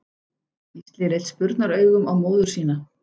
Gísli leit spurnaraugum á móður sína.